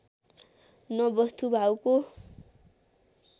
न बस्तुभाउको